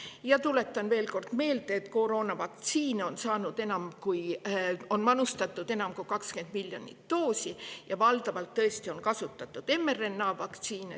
Ja tuletan veel kord meelde, et koroonavaktsiini on manustatud enam kui 20 miljonit doosi ja valdavalt on tõesti kasutatud mRNA-vaktsiine.